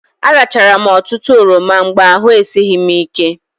Arachara m ọtụtụ oroma mgbe ahụ esighị m ike.